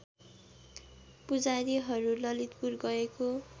पुजारीहरू ललितपुर गएको